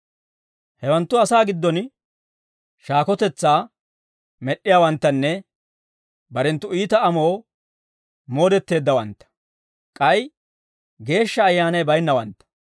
Hewanttu asaa giddon shaakotetsaa med'd'iyaawanttanne, barenttu iita amoo moodetteeddawantta; k'ay Geeshsha Ayyaanay baynnawantta.